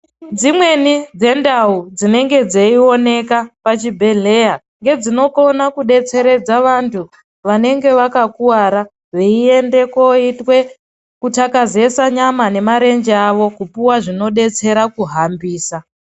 Dzimweni dzendau dzinenge dzeioneka pachibhedhleya, ngedzinokona kudetseredza vantu ,vanenge vakakuwara veiende koitwe kuthakazesa nyama nemarenje avo kupuwa zvinodetsera kuhambisa .